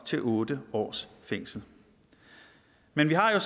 til otte års fængsel men vi har jo